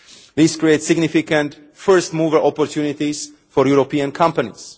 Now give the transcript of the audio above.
This creates significant first mover opportunities' for European companies.